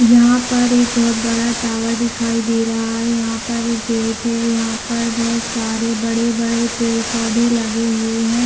यहाँ पर एक बहुत बड़ा टावर दिखाई दे रहा है यहाँ पर एक गेट है यहाँ पर बहोत सारे बड़े-बड़े पेड़-पौधे लगे हुए है।